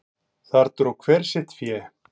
Þar dró hver sitt fé.